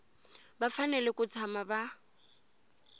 va fanele ku tshama va